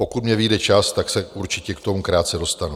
Pokud mně vyjde čas, tak se určitě k tomu krátce dostanu.